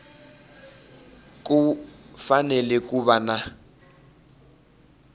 ku fanele ku va na